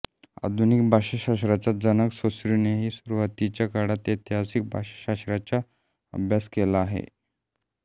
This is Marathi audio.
आधुनिक भाषाशास्त्राचा जनक सोस्यूरनेही सुरूवातीच्या काळात ऐतिहासिक भाषाशास्त्राचा अभ्यास केलेला आहे